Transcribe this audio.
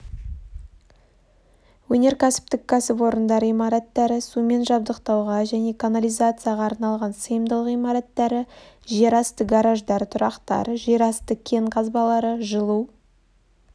өнеркәсіптік кәсіпорындар имараттары сумен жабдықтауға және канализацияға арналған сыйымдылық имараттары жер асты гараждар-тұрақтар жер асты кен қазбалары жылу